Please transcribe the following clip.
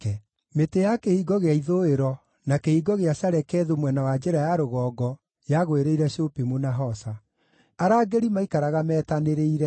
Mĩtĩ ya Kĩhingo gĩa Ithũĩro, na Kĩhingo gĩa Shalekethu mwena wa njĩra ya rũgongo, yagwĩrĩire Shupimu na Hosa. Arangĩri maaikaraga metanĩrĩire.